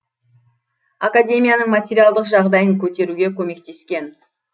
академияның материалдық жағдайын көтеруге көмектескен